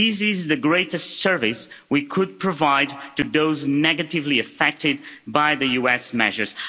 This is the greatest service we could provide to those negatively affected by the US measures.